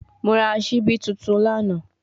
Mo ra sibi tuntun lana